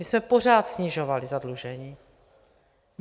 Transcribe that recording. My jsme pořád snižovali zadlužení.